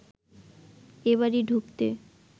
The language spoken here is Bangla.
এ বাড়ি ঢুকতে